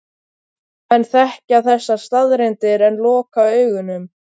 Menn þekkja þessar staðreyndir en loka augunum.